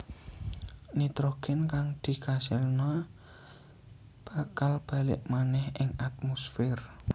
Nitrogén kang dikasilna bakal balik manèh ing atmosfér